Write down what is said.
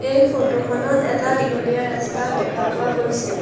এই ফটো খনত এটা দীঘলীয়া ৰাস্তা দেখা পোৱা গৈছে।